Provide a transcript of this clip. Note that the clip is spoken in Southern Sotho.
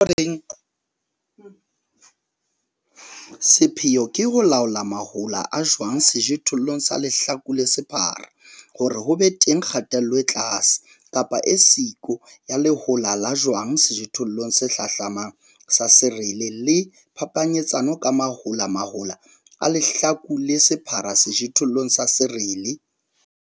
Sepheo ke ho laola mahola a jwang sejothollong sa lehlaku le sephara hore ho be teng kgatello e tlase, kapa e siyo ya lehola la jwang sejothollong se hlahlamamng sa serele le phapanyetsano ka mahola mahola a lehlaku le sephara sejothollong sa serele.